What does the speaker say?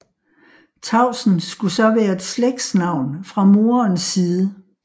Tausen skulle så være et slægtsnavn fra moderens side